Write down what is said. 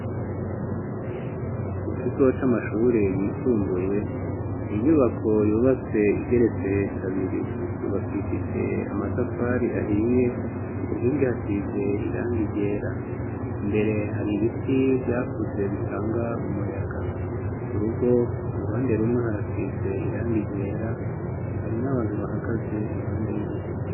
Mu kigo c'amashuri yisumbuye ni inyubako yubatse igeretse he kabiri yubakishije amatafari ahiye ku nkingi hasize iranga iryera mbere hari ibiti vyakuze bitanga umuyaga urugo ruhande rumwe harasize iranga yera hari n'abantu bahagaze impande y'urugo.